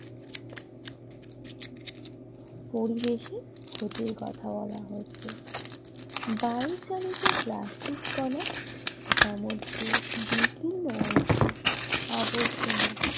পরিবেশের ক্ষতির কথা বলা হয়েছে বায়ু চালিতপ্লাস্টিক কনা সামুদ্রিক বিভিন্ন অংশে আবর্জনা।